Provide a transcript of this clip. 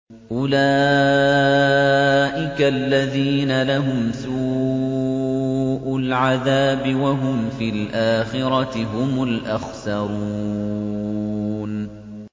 أُولَٰئِكَ الَّذِينَ لَهُمْ سُوءُ الْعَذَابِ وَهُمْ فِي الْآخِرَةِ هُمُ الْأَخْسَرُونَ